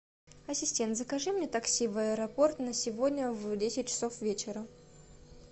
ассистент закажи мне такси в аэропорт на сегодня в десять часов вечера